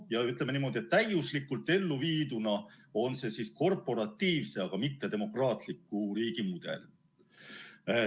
Ütleme niimoodi, et täiuslikult elluviiduna on see korporatiivse, aga mitte demokraatliku riigi mudel.